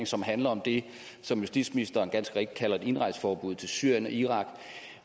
som handler om det som justitsministeren ganske rigtig kalder et indrejseforbud til syrien og irak